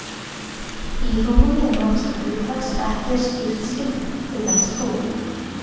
Í hrúgunni er notast við hugtak sem ekki er skýrt skilgreint, til dæmis hrúgu.